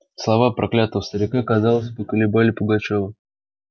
слова проклятого старика казалось поколебали пугачёва